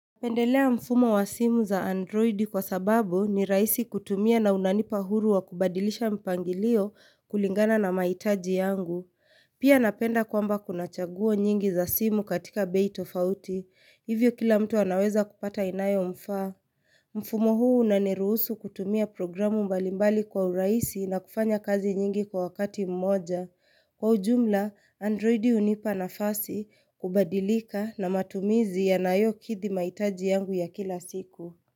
Pendelea mfumo wa simu za androidi kwa sababu ni rahisi kutumia na unanipa huru wa kubadilisha mpangilio kulingana na mahitaji yangu. Pia napenda kwamba kunachaguo nyingi za simu katika bei tofauti. Hivyo kila mtu anaweza kupata inayomfaa. Mfumo huu unaniruhusu kutumia programu mbalimbali kwa urahisi na kufanya kazi nyingi kwa wakati mmoja. Kwa ujumla, androidi hunipa nafasi, kubadilika na matumizi yanayokidhi mahitaji yangu ya kila siku.